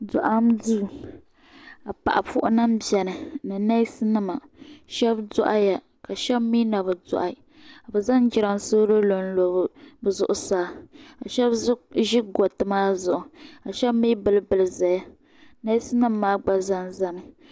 Doɣam duu ka paɣa puhi nima biɛni ni neesi nima sheba doɣaya sheba mee nabi doɣi ka bɛ zaŋ jiransolo lo bɛ zuɣusaa bɛ sheba ʒi gariti maa zuɣu bɛ sheba bili bili zaya neesi nima maa gba zami.